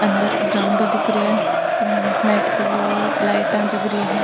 अंदर ग्राउंड दिख रो है नाइट को विव आ लाइटा जग रही है।